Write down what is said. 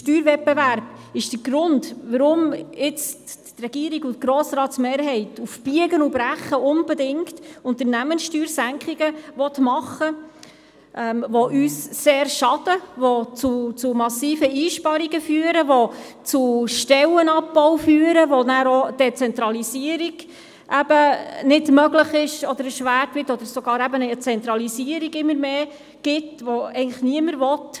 Der Steuerwettbewerb ist der Grund, weshalb die Regierung und die Mehrheit des Grossen Rats jetzt auf Biegen und Brechen Unternehmenssteuersenkungen machen wollen, welche uns sehr schaden und zu massiven Einsparungen führen, welche zu Stellenabbau führen, durch welche eine Zentralisierung nicht möglich sein oder erschwert wird, oder wodurch es sogar immer mehr Zentralisierungen kommt, die niemand will.